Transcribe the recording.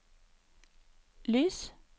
lys